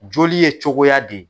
Joli ye cogoya di.